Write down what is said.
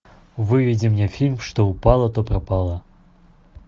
выведи мне фильм что упало то пропало